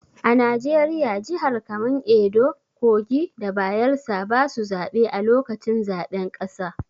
A Najeriya, jihar kaman Edo, kogi da Bayelsa basu zabe a lokacin zaɓen ƙasa.